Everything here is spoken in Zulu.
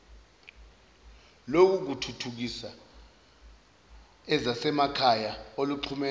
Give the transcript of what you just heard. lokuthuthukisa ezasemakhaya oluxhumene